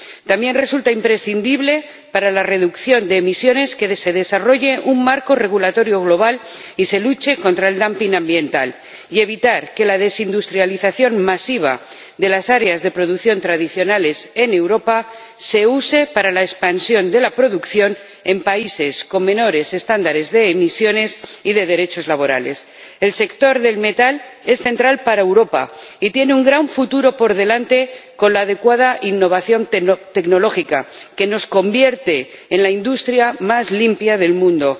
También resulta imprescindible para la reducción de emisiones que se desarrolle un marco regulatorio global y se luche contra el dumping ambiental, y que se evite que la desindustrialización masiva de las áreas de producción tradicionales en Europa se use para la expansión de la producción en países con estándares inferiores de emisiones y de derechos laborales. El sector del metal es central para Europa y tiene un gran futuro por delante con la adecuada innovación tecnológica, que nos convierte en la industria más limpia del mundo,